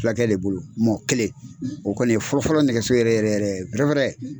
Fulakɛ le bolo mɔɔ kelen o kɔli ye fɔlɔfɔlɔ nɛgɛso yɛrɛ yɛrɛ yɛrɛ dɔ wɛrɛ